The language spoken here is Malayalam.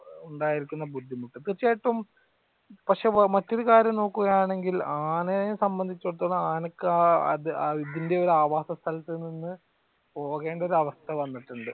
ഉണ്ടായിരിക്കുന്ന ബുദ്ധിമുട്ട് തീർച്ചയായിട്ടും പക്ഷെ മറ്റൊരു കാര്യം നോക്കുക ആണെങ്കിൽ ആനയെ സംബന്ധിച്ചടുത്തോളം ആനക്ക് ഇതിന്റെ ആവാസസ്ഥലത്തു നിന്ന് പോകേണ്ട അവസ്ഥ വന്നിട്ടുണ്ട്.